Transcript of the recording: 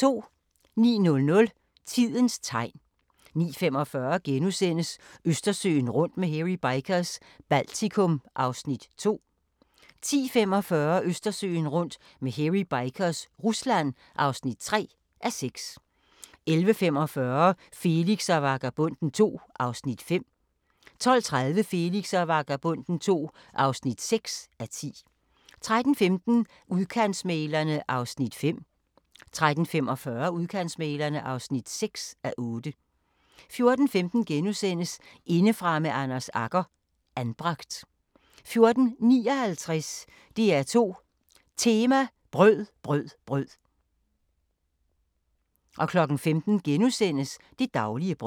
09:00: Tidens tegn 09:45: Østersøen rundt med Hairy Bikers – Baltikum (2:6)* 10:45: Østersøen rundt med Hairy Bikers – Rusland (3:6) 11:45: Felix og Vagabonden II (5:10) 12:30: Felix og Vagabonden II (6:10) 13:15: Udkantsmæglerne (5:8) 13:45: Udkantsmæglerne (6:8) 14:15: Indefra med Anders Agger – Anbragt * 14:59: DR2 Tema: Brød, brød, brød 15:00: Det daglige brød *